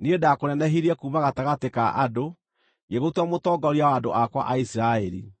‘Niĩ ndakũnenehirie kuuma gatagatĩ ka andũ, ngĩgũtua mũtongoria wa andũ akwa a Isiraeli.